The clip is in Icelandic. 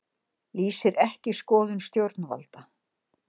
Lýsir ekki skoðun stjórnvalda